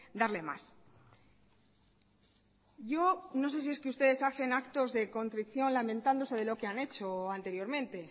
darle más yo no sé si es que ustedes hacen actos de contrición lamentándose de lo que han hecho anteriormente